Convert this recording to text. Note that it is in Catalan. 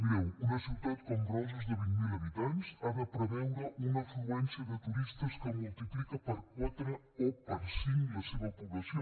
mireu una ciutat com roses de vint mil habitants ha de preveure una afluència de turistes que multiplica per quatre o per cinc la seva població